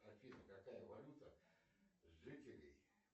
афина какая валюта жителей